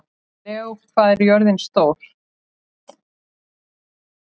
Leó, hvað er jörðin stór?